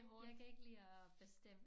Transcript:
Jeg kan ikke lide at bestemme